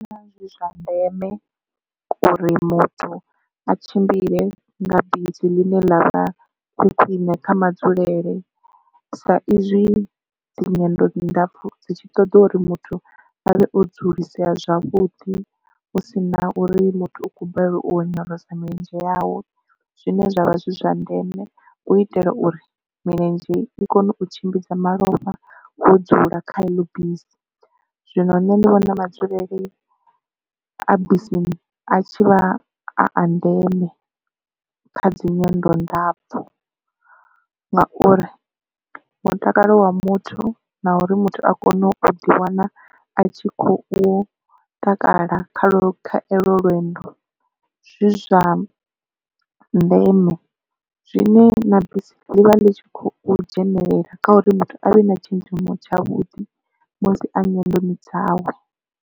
Ndi vhona zwi zwa ndeme uri muthu a tshimbile nga bisi ḽine ḽa vha khwine kha madzulele sa izwi dzi nyendo ndapfu dzi tshi ṱoḓa uri muthu avhe o dzulisea zwavhuḓi hu si na uri muthu u khou balelwa u onyolosa milenzhe yawe zwine zwavha zwi zwa ndeme u itela uri milenzhe i kone u tshimbidza malofha wo dzula kha eḽo bisi. Zwino nṋe ndi vhona madzulele a bisini a tshivha a a ndeme kha dzi nyendo ndapfu ngauri mutakalo wa muthu na uri muthu a kone u ḓi wana a tshi kho u takala kha olwo lwendo zwi zwa ndeme zwine na bisi ḽivha ḽi tshi khou dzhenelela kha uri muthu avhe na tshenzhemo tshavhuḓi musi a nyendo ni dzawe.